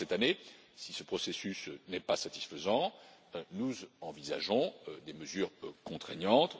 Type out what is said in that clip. À la fin de cette année, si ce processus n'est pas satisfaisant, nous envisagerons des mesures contraignantes